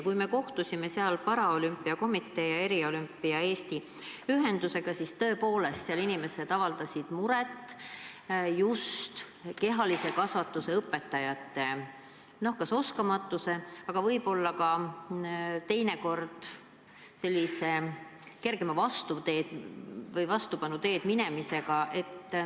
Kui me kohtusime seal meie paralümpiakomitee ja Eriolümpia Eesti Ühendusega, siis nende esindajad avaldasid muret just kehalise kasvatuse õpetajate oskamatuse ja teinekord võib-olla ka sellise kergema vastupanu teed minemise pärast.